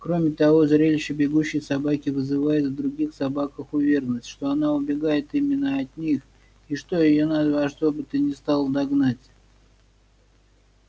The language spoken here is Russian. кроме того зрелище бегущей собаки вызывает в других собаках уверенность что она убегает именно от них и что её надо во что бы то ни стало догнать